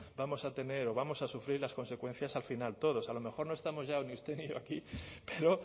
vamos a tener o vamos a sufrir las consecuencias al final todos a lo mejor no estamos ya ni usted ni yo aquí pero